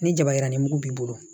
Ni jaba yiranin mugu b'i bolo